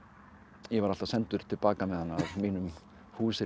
ég var alltaf sendur til baka með hana af mínum